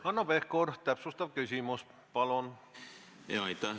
Hanno Pevkur, täpsustav küsimus, palun!